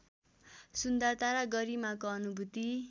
सुन्दरता र गरिमाको अनुभूति